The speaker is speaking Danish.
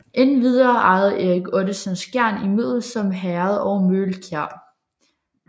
Endvidere ejede Erik Ottesen Skjern i Middelsom Herred og Møgelkjær